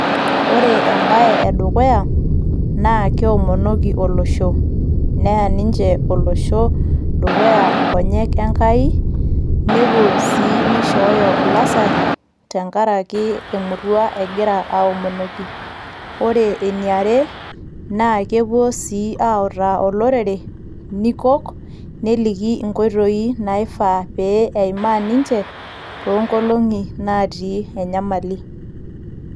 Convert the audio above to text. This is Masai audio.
Ore embaye edukuya naa keomonoki olosho neya ninche olosho dukuya inkonyek enkai nepuo sii nishooyo ilasarri tenkaraki emurua egira aomonoki ore ene are naa kepuo sii autaa olorere nikok neliki inkoitoi naifaa pee eimaa ninche toonkolong'i natii enyamali.